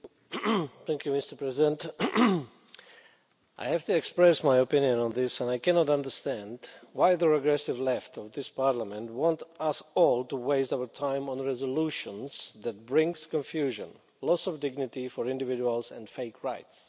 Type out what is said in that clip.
Mr President, I have to express my opinion on this and I cannot understand why the regressive Left of this Parliament wants us all to waste our time on resolutions that bring confusion, loss of dignity for individuals and fake rights.